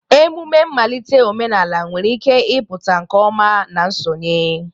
Emume mmalite omenala nwere ike ịpụta nke ọma na nsonye.